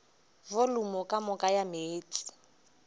volumo ka moka ya meetse